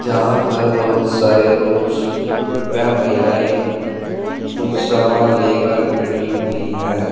यहां पर बहुत सारे पुरुष व महिलाएं कुछ सामान लेकर खड़ी हुई है।